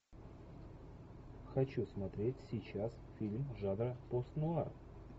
хочу смотреть сейчас фильм жанра постнуар